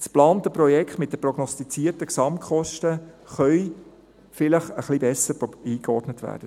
Das geplante Projekt mit den prognostizierten Gesamtkosten kann vielleicht ein bisschen besser eingeordnet werden.